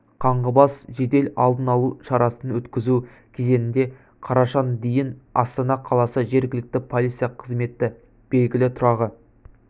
қаңғыбас жедел алдын алу шарасын өткізу кезеңінде қарашаның дейін астана қаласы жергілікті полиция қызметі белгілі тұрағы